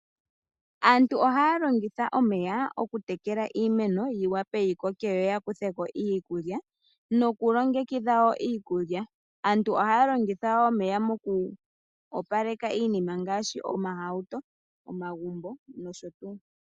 Aantu ihaya longitha omeya oku tekela iimeno, yi wape yi koke yo ya kutheko iikulya. Nokulongekidha iikulya aantu ihaya longitha omeya moku opaleka iinima ngaashi omahauto, omagumbo, nosho tuu.